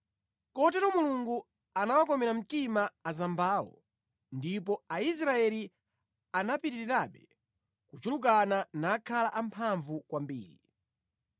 Kotero Mulungu anawakomera mtima azambawo, ndipo Aisraeli anapitirirabe kuchulukana nakhala amphamvu kwambiri.